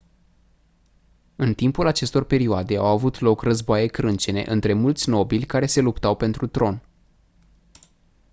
în timpul acestor perioade au avut loc războaie crâncene între mulți nobili care se luptau pentru tron